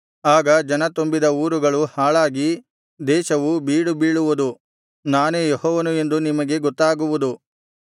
ಆಗ ಜನ ತುಂಬಿದ ಊರುಗಳು ಹಾಳಾಗಿ ದೇಶವು ಬೀಡುಬೀಳುವುದು ನಾನೇ ಯೆಹೋವನು ಎಂದು ನಿಮಗೆ ಗೊತ್ತಾಗುವುದು